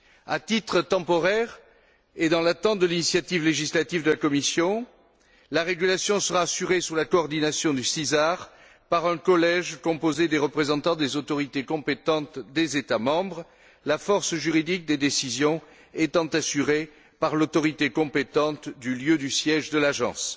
À titre temporaire, et dans l'attente de l'initiative législative de la Commission, la régulation sera assurée sous la coordination du CESR par un collège composé des représentants des autorités compétentes des États membres, la force juridique des décisions étant assurée par l'autorité compétente du lieu du siège de l'agence.